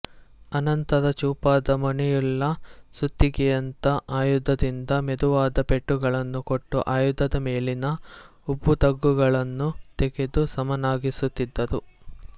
ಅನಂತರ ಚೂಪಾದ ಮೊನೆಯುಳ್ಳ ಸುತ್ತಿಗೆಯಂಥ ಆಯುಧದಿಂದ ಮೆದುವಾದ ಪೆಟ್ಟುಗಳನ್ನು ಕೊಟ್ಟು ಆಯುಧದ ಮೇಲಿನ ಉಬ್ಬುತಗ್ಗುಗಳನ್ನು ತೆಗೆದು ಸಮನಾಗಿಸುತ್ತಿದ್ದರು